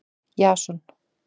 Jason